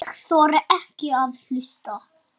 Ég þori ekki að hlusta.